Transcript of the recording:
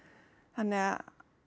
þannig að